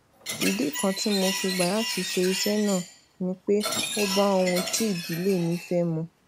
ìdí kan tí mo fi gbà láti ṣe iṣé náà ni pé ó bá ohun tí ìdílé mi fé mu